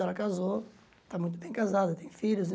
Ela casou, está muito bem casada, tem filhos e.